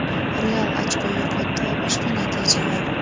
"Real" ochko yo‘qotdi va boshqa natijalar.